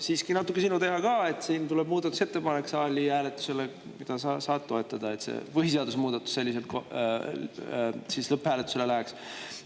Siiski on see natuke sinu teha ka, sest saali hääletusele tuleb muudatusettepanek, mida sa saad toetada, et see põhiseaduse muudatus selliselt lõpphääletusele läheks.